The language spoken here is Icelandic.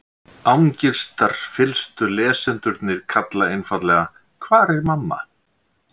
Angistarfyllstu lesendurnir kalla einfaldlega: Hvar er mamma?